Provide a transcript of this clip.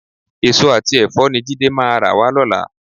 Èso àti ẹ̀fọ́ ni Jídé máa rà wá lọ́la.